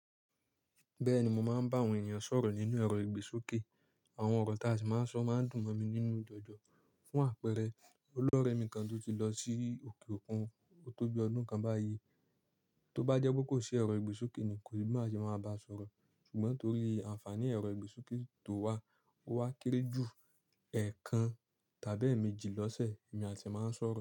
Bẹ́ẹ̀ni mo máa ń bá àwọn ènìyàn sọ̀rọ̀ nínú ẹ̀rọ ìgbésókè. Àwọn ọ̀rọ̀ tí a sì máa ń sọ máa ń dùn mọ́ mi nínú jọjọ. Fún àpẹẹrẹ, olórẹ mi kan tó ti lọ sí òkè òkun tóbi ọdún kan báyìí. Tó bá jẹ́ pé kò sí ẹ̀rọ ìgbésókè ni kò ní má ṣe máa bá a sọ̀rọ̀. Ṣùgbọ́n torí ànfàní ẹ̀rọ ìgbésókè tó wà, ó wá kéré jù ẹẹkan tàbí èèmejì lọ́sẹ̀, èmi àti ẹ̀ máa ń sọ̀rọ̀